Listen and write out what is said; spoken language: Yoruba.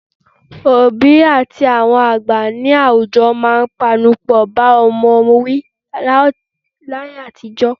Òbí àti àwọn àgbà ní àwùjọ máa ń panupọ̀ bá ọmọ wí láyé àtijọ́